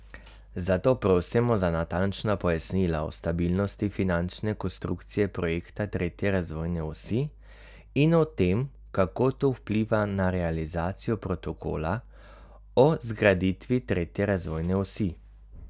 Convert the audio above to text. Zato prosimo za natančna pojasnila o stabilnosti finančne konstrukcije projekta tretje razvojne osi in o tem, kako to vpliva na realizacijo protokola o zgraditvi tretje razvojne osi.